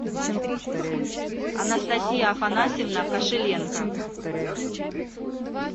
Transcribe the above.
анастасия афанасьевна кошеленко